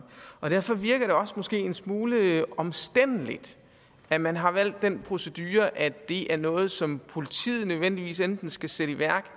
derfor virker det også en smule omstændeligt at man har valgt den procedure at det er noget som politiet nødvendigvis enten skal sætte i værk